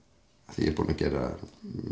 því ég er búin að gera